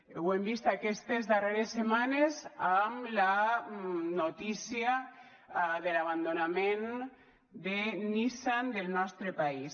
ho hem vist aquestes darreres setmanes amb la notícia de l’abandonament de nissan del nostre país